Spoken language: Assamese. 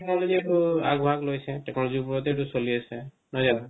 technology টো আগ ভাগ লৈছে technology ৰ উপৰতে তো চলি আছে নহয় জানো